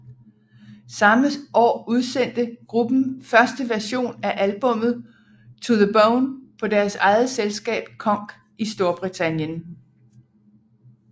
Samme år udsendte gruppen første version af albummet To the Bone på deres eget selskab Konk i Storbritannien